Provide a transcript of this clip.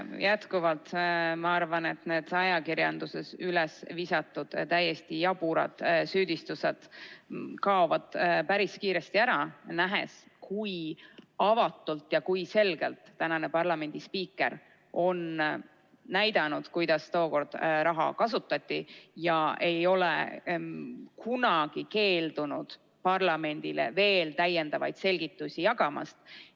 Jätkuvalt, ma arvan, et need ajakirjanduses üles visatud täiesti jaburad süüdistused kaovad päris kiiresti ära, nähes, kui avatult ja selgelt on ametis olev parlamendispiiker näidanud, kuidas tookord raha kasutati, ega ole kunagi keeldunud parlamendile veel selgitusi jagamast.